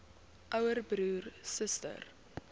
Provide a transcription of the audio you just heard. ouer broer suster